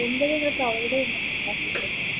എന്തും നിങ്ങൾ provide ചെയ്യുന്നുണ്ടോ